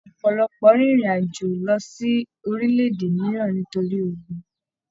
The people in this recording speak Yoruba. Ọpọlọpọ rìn ìrin àjò lọ sí orílẹ̀-èdè mìíràn nítorí ogún